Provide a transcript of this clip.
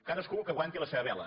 cadascú que aguanti la seva vela